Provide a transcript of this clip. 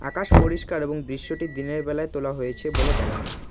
আকাশ পরিষ্কার এবং দৃশ্যটি দিনের বেলায় তোলা হয়েছে বলে মনে হয়।